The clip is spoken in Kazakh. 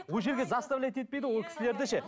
ол жерде заставлять етпейді ғой ол кісілерді ше